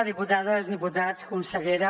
diputades diputats consellera